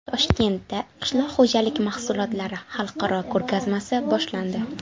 Toshkentda qishloq xo‘jalik mahsulotlari xalqaro ko‘rgazmasi boshlandi.